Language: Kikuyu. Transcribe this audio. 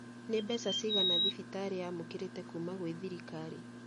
Nĩ mbeca cigana thibitarĩ yamũkĩrĩte kuuma gwĩ thirikari